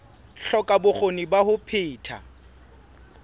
hloka bokgoni ba ho phetha